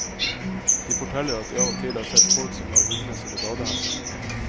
De forteller at de av og til har sett folk som lar hundene sine bade her.